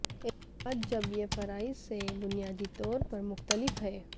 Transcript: اتحاد جب یہ فرائض سے بنیادی طور پر مختلف ہے